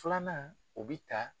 Filanan o bi ta